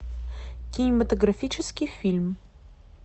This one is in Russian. кинематографический фильм